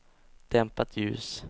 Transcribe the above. dämpat ljus